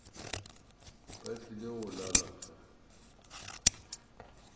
ba tlile go lala fa